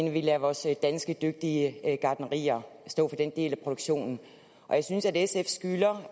at vi lader vores danske dygtige gartnerier stå for den del af produktionen jeg synes at sf skylder